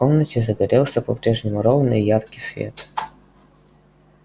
в комнате загорелся по-прежнему ровный и яркий свет